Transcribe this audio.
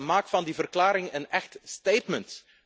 Maak van die verklaring een echt statement.